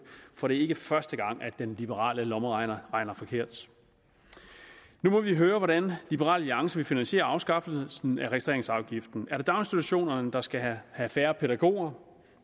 for det er ikke første gang at den liberale lommeregner har regnet forkert nu må vi høre hvordan det liberal alliance vil finansiere afskaffelsen af registreringsafgiften er det daginstitutionerne der skal have færre pædagoger